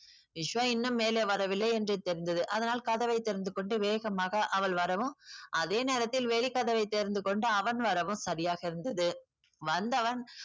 விஸ்வா இன்னும் மேலே வரவில்லை என்று தெரிந்தது. அதனால் கதவை திறந்து கொண்டு வேகமாக அவள் வரவும் அதே நேரத்தில் வெளிக்கதவை திறந்து கொண்டு அவன் வரவும் சரியாக இருந்தது. வந்தவன்